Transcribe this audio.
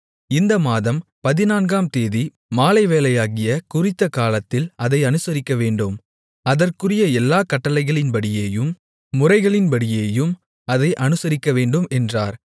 இந்த மாதம் பதினான்காம்தேதி மாலை வேளையாகிய குறித்த காலத்தில் அதை அனுசரிக்கவேண்டும் அதற்குரிய எல்லாக் கட்டளையின்படியேயும் முறைகளின்படியேயும் அதை அனுசரிக்கவேண்டும் என்றார்